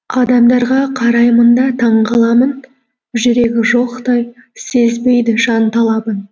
адамдарға қараймын да таң қаламын жүрегі жоқтай сезбейді жан талабын